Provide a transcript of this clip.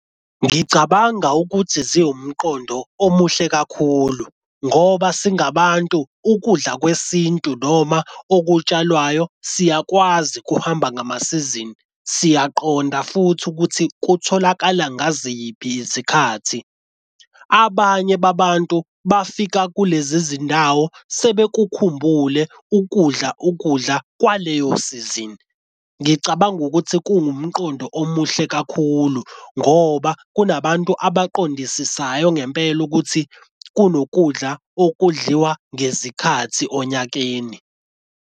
Ngicabanga ukuthi ziwumqondo omuhle kakhulu ngoba singabantu ukudla kwesintu noma okutshalwayo siyakwazi kuhamba ngamasizini. Siyaqonda futhi ukuthi kutholakala ngaziphi isikhathi. Abanye babantu bafika kulezi zindawo sebekukhumbule ukudla ukudla kwaleyo sizini. Ngicabanga ukuthi kuwumqondo omuhle kakhulu ngoba kunabantu abaqondisayo ngempela ukuthi kunokudla okudliwa ngezikhathi onyakeni.